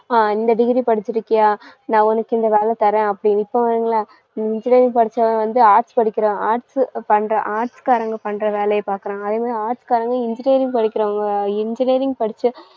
ஆஹ் இந்த degree படிச்சிருக்கியா? நான் உனக்கு இந்த வேலை தரேன் அப்படின்னு. இப்ப engineering படிச்சவன் வந்து arts படிக்கிறான் arts பண்றான் arts காரங்க பண்ற வேலையை பாக்குறான். அதே மாதிரி arts காரங்க engineering படிக்கிறவங்க engineering படிச்ச